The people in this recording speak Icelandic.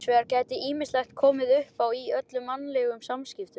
Hins vegar geti ýmislegt komið uppá í öllum mannlegum samskiptum.